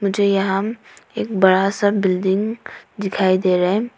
जो यहां एक बड़ा सा बिल्डिंग दिखाई दे रहा है।